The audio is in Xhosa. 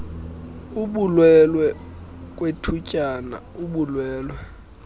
kubulwelwe kwethutyana ubulwelwe